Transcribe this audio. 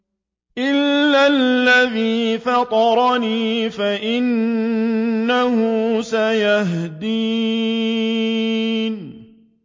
إِلَّا الَّذِي فَطَرَنِي فَإِنَّهُ سَيَهْدِينِ